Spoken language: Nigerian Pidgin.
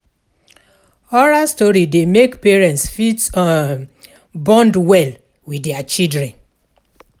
Oral story dey make parents fit um bond well with their children